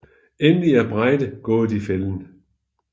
Endelig er Breide gået i fælden